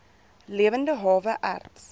lewende hawe erts